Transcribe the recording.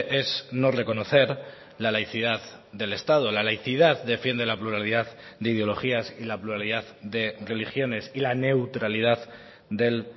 es no reconocer la laicidad del estado la laicidad defiende la pluralidad de ideologías y la pluralidad de religiones y la neutralidad del